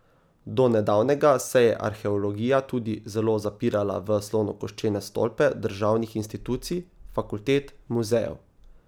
Do nedavnega se je arheologija tudi zelo zapirala v slonokoščene stolpe državnih institucij, fakultet, muzejev.